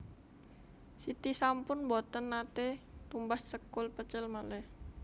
Siti sampun mboten nate tumbas sekul pecel malih